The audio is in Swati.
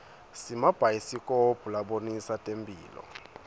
simabhayisikobho labonisa temphilo